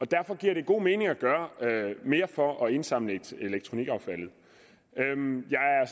derfor giver det god mening at gøre mere for at indsamle elektronikaffaldet